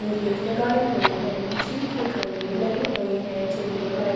ईटे लगाई हुए है बिजली के काम्बे लगे हुए है जिनमे लाइटिंग --